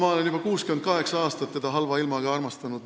Ma olen juba 68 aastat teda halva ilmaga armastanud.